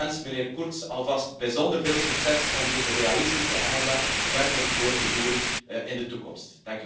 Ik wens meneer Kurz alvast bijzonder veel succes om deze realistische agenda verder door te duwen in de toekomst.